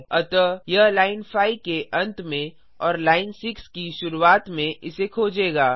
अतः यह लाइन 5 के अंत में और लाइन 6 की शुरुआत में इसे खोजेगा